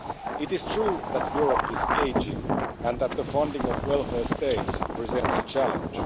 It is true that Europe is ageing and that the funding of welfare states presents a challenge.